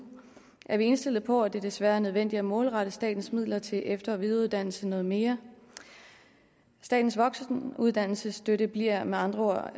er vi indstillet på at det desværre er nødvendigt at målrette statens midler til efter og videreuddannelse noget mere statens voksenuddannelsesstøtte bliver med andre